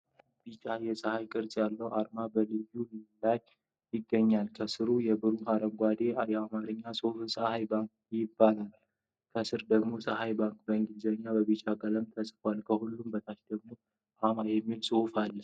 ቢጫ የፀሐይ ቅርጽ ያለው አርማ በላዩ ላይ ይገኛል። ከሥሩ የብሩክ አረንጓዴ የአማርኛ ጽሑፍ "ፀሐይ ባንክ" ይነበባል። ከስር ደግሞ "TSEHAY BANK" በእንግሊዝኛ በቢጫ ቀለም ተጽፏል። ከሁሉም በታች ደግሞ "አ.ማ" የሚለው ጽሑፍ አለ።